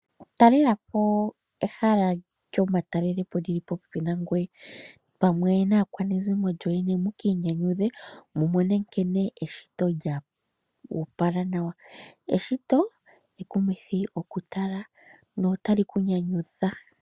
Talelapo ehala lyomatalelelepo lili popepi nangoye pamwe naakwanezimo yoye. Ne mu ki inyanyudhe mu mone nkene eshito lyoopala nawa. Eshito ekumithi okutala notali kunyanyudha.